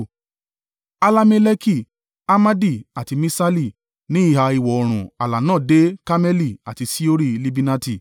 Allameleki, Amadi, àti Miṣali. Ní ìhà ìwọ̀-oòrùn ààlà náà dé Karmeli àti Ṣihori-Libinati.